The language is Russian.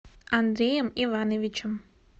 андреем ивановичем